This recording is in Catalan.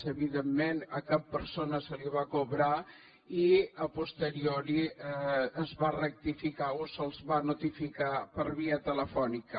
evidentment a cap persona se li va cobrar i a posteriori es va rectificar o se’ls va notificar per via telefònica